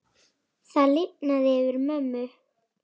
Það lifnaði yfir mömmu.